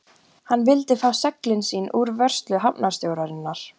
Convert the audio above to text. Hann vildi fá seglin sín úr vörslu hafnarstjórnarinnar.